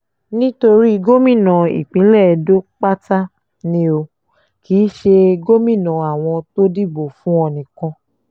nítorí gómìnà ìpínlẹ̀ edo pátá ni o ò kì í ṣe gómìnà àwọn tó dìbò fún ọ nìkan